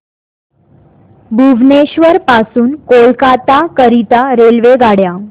भुवनेश्वर पासून कोलकाता करीता रेल्वेगाड्या